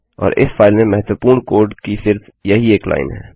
और इस फाइल में महत्वपूर्ण कोड की सिर्फ यही एक लाइन है